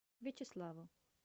вячеславу